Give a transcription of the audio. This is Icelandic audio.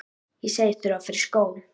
Ég segist þurfa að fara í skó.